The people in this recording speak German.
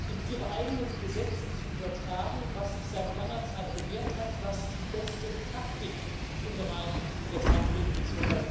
in ihre eigenen Gesetze zu übertragen, was sich seit langer Zeit bewährt hat, was die beste Praktik im Bereich der Pfandbriefe bzw.